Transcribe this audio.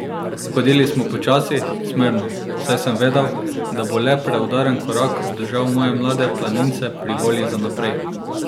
Hodili smo počasi, zmerno, saj sem vedel, da bo le preudaren korak obdržal moje mlade planince pri volji za naprej.